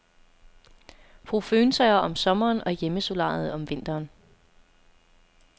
Brug føntørrer om sommeren og hjemmesolariet om vinteren.